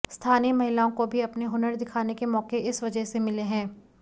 स्थानीय महिलाओं को भी अपने हुनर दिखाने के मौक़े इस वजह से मिले हैं